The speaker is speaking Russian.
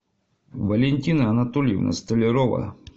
валентина анатольевна столярова